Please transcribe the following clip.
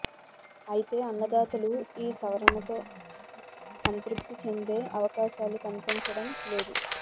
అయితే అన్నదాతలు ఈ సవరణలతో సంతృప్తి చెందే అవకాశాలు కనిపించడం లేదు